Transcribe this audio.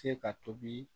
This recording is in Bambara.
Se ka tobi